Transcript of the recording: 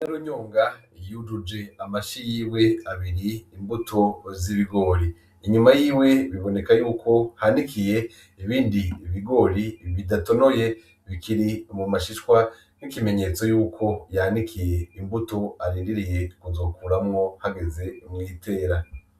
Nyinarunyonga yujuje amashi yiwe abiri imbuto z'ibigori inyuma yiwe biboneka yuko hanikiye ibindi bigori bidatonoye bikiri mu mashishwa nico kimenyetso yuko yanikiye imbuto arindiriye kuzokuramwo hageze mu itera.